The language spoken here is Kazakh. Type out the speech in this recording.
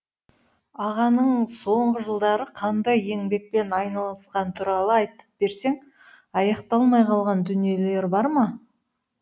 ағаның соңғы жылдары қандай еңбекпен айналысқаны туралы айтып берсең аяқталмай қалған дүниелері бар ма